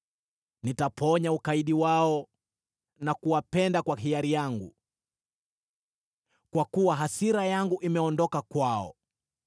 “Nitaponya ukaidi wao na kuwapenda kwa hiari yangu, kwa kuwa hasira yangu imeondoka kwao.